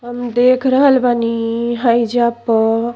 हम देख रहल बानी हईजा प --